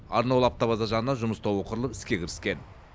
арнаулы автобаза жанынан жұмыс тобы құрылып іске кіріскен